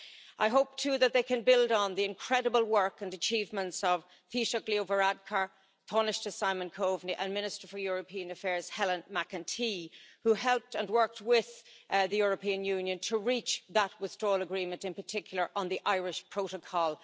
I hope, too, that they can build on the incredible work and achievements of Taoiseach Leo Varadkar, Tánaiste Simon Coveney, and Minister for European Affairs Helen McEntee, who helped and worked with the European Union to reach that Withdrawal Agreement, in particular on the Irish Protocol.